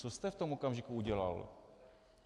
Co jste v tom okamžiku udělal?